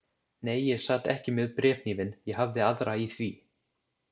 Nei, ég sat ekki með bréfhnífinn, ég hafði aðra í því.